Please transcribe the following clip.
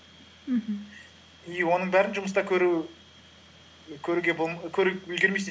мхм и оның бәрін жұмыста көріп үлгермейсің